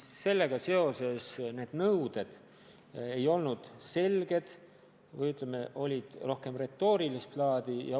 Samas, sellega seotud nõuded ei olnud selged, need olid, ütleme, rohkem retoorilist laadi.